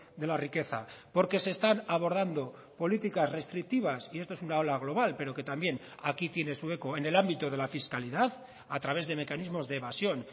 de la riqueza porque se están abordando políticas restrictivas y esto es una ola global pero que también aquí tiene su eco en el ámbito de la fiscalidad a través de mecanismos de evasión